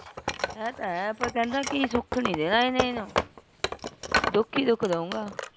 ਹੈ ਤ ਹੈ ਪਰ ਕਿਹੰਦਾ ਸੁਖ ਨਹੀਂ ਦੇਣਾ ਇਹਨੇ ਏਹਨੂਂ ਦੁਖ ਹੀ ਦੁਖ ਦਹੂੰਗਾਂ